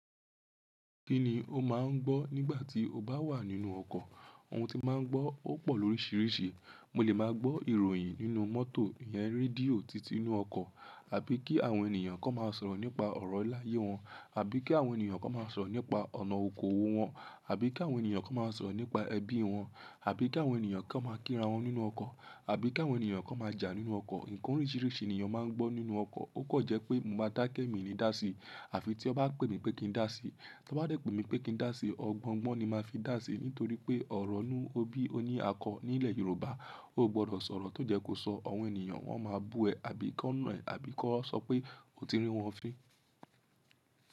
Kí ni o máa ń gbọ́ nígbà tí o bá wà nínú ọkọ̀? Ohun tí n màá ń gbọ́ ó pọ̀ lóríṣiríṣi. Mo lè máa gbọ́ ìròyìn nínú mọ́tò ìyẹn, rédíò títí inú ọkọ̀ àbí kí àwọn ènìyàn kan máa sọ̀rọ̀ nípa ọ̀rọ̀ iláyé wọn, àbí kí àwọn ènìyàn kan máa sọ̀rọ̀ nípa ọ̀nà okoòwò wọn, àbí kí àwọn ènìyàn kan máa sọ̀rọ̀ nípa ẹbí wọn, àbí kí àwọn ènìyàn kan máa kíra wọn nínú ọkọ̀, àbí kí àwọn ènìyàn kan máa jà nínú ọkọ̀. Ǹkan oríṣiríṣi nìyàn máa ń gbọ́ nínú ọkọ̀. Ó kọ̀n jẹ́ pé mo máa dákẹ́ mi ni dásí àfi tí an bá pè mi pé kí n dá sí. Tí wọ́n bá dẹ̀ pé mi pé kí n dá sí, ọgbọ́n-ọgbọ́n ni màá fi dá sí nítorí pé ọ̀rọ̀ inú ọbí ó ní àkọọ́ nílẹ̀ Yorùbá. O ò gbọdọ̀ sọ̀rọ̀ tó jẹ́ kó sọ ọ̀wọ́n ènìyàn, wọ́n máa bú ẹ àbí kán nà ẹ́ àbí kán sọ pé o ti rí wọ́n fin.